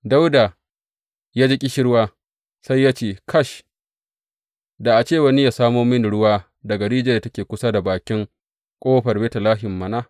Dawuda ya ji ƙishirwa, sai ya ce, Kash, da a ce wani yă samo mini ruwa daga rijiyar da take kusa da bakin ƙofar Betlehem mana!